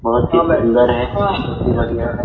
बहुत ही सुंदर है बहुत ही बढियाँ है।